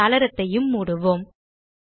இந்த சாளரத்தையும் மூடுவோம்